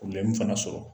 fana sɔrɔ